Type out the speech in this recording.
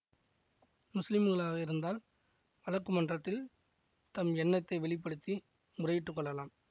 முஸ்லிம்களாக இருந்தால் வழக்கு மன்றத்தில் தம் எண்ணத்தை வெளி படுத்தி முறையிட்டுக் கொள்ளலாம்